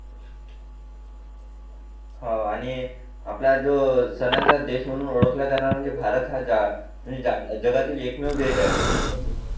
हो आणि आपला जो सणाचा देश म्हणून ओळखलाजाणारा म्हणजे भारत हा एकमेव देश आहे